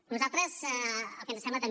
a nosaltres el que ens sembla també